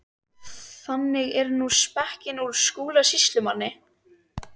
Þannig er nú spekin úr Skúla sýslumanni.